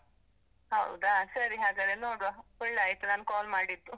ಹೌದಾ? ಸರಿ ಹಾಗಾದ್ರೆ ನೋಡುವ, ಒಳ್ಳೆ ಆಯ್ತು ನಾನು call ಮಾಡಿದ್ದು.